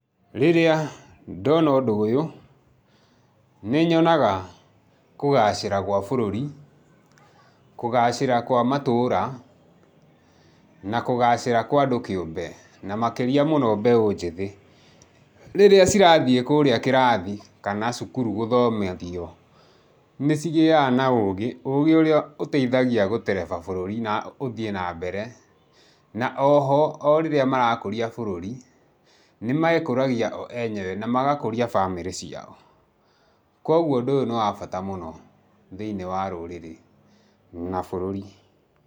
Rĩrĩa ndona ũndũ ũyũ, nĩnyonaga kũgacĩra gwa bũrũri, kũgacĩra kwa matũra, na kũgacĩra kwa andũ kĩũmbe, na makĩria mũno mbeũ njĩthĩ. Rĩrĩa cĩrathiĩ kũrĩa kĩrathi kana cukuru gũthomithio, nĩcigĩaga na ũgĩ, ũgĩ ũrĩa ũteithagia gũtereba bũrũri na ũthiĩ na mbere, na oho o rĩrĩa marakũria bũrũri, nĩmekũragia o enyewe, na magakũria family ciao. Kwoguo ũndũ ũyũ nĩ wa bata mũno thĩiniĩ wa rũrĩrĩ na bũrũri.